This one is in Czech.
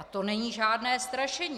A to není žádné strašení.